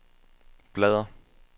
bladr